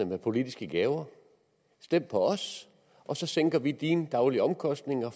med politiske gaver stem på os og så sænker vi dine daglige omkostninger